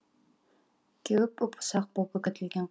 кеуіп ұп ұсақ боп үгітілген